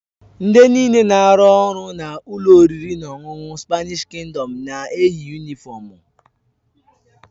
Ndị nịle na-arụ ọrụ na ụlọ oriri na ọṅụṅụ Spanịsh Kingdọm na-eyi yunịfọmu.